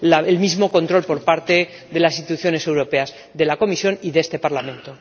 el mismo control por parte de las instituciones europeas, de la Comisión y de este Parlamento.